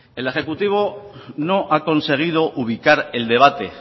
el ejecutivo no ha conseguido ubicar el debate